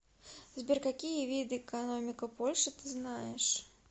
сбер какие виды экономика польши ты знаешь